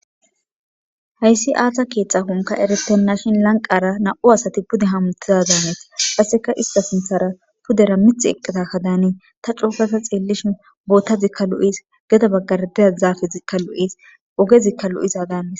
hayssi azza keetxa konka eretenna shin lanqara na7u asati pude hamutizadaanneti aseka ista sinthara pudera mith eqqeta ka daani ta coofata xeellishin bootta zikka lu7is geda baggardeza zaafe zikka lu7is oge zikka lu7iza daanis